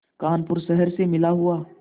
कानपुर शहर से मिला हुआ